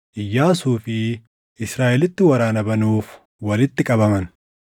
Iyyaasuu fi Israaʼelitti waraana banuuf walitti qabaman.